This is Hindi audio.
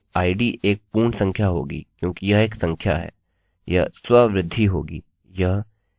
हमारी id एक पूर्ण संख्या होगी क्योंकि यह एक संख्या है